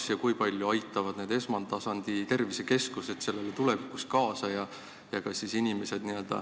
Kas ja kui palju aitavad need esmatasandi tervisekeskused sellele tulevikus kaasa?